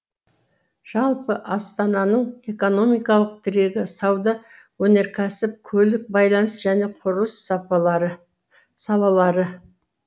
жалпы астананың экономикалық тірегі сауда өнеркәсіп көлік байланыс және құрылыс салалары